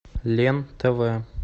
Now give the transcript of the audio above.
лен тв